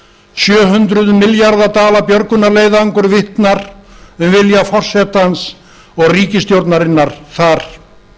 sjö hundruð milljón dala björgunarleiðangur vitnar um vilja forsetans og ríkisstjórnarinnar þar